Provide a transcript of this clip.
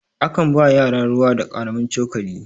a kan ba yara ruwa da karamin cokali